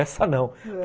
Essa não.